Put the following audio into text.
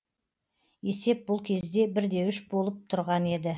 есеп бұл кезде бір де үш болып тұрған еді